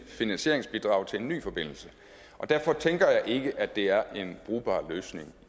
finansieringsbidrag til en ny forbindelse og derfor tænker jeg ikke at det er en brugbar løsning